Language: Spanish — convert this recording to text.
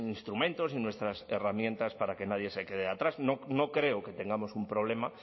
instrumentos y nuestras herramientas para que nadie se quede atrás no creo que tengamos un problema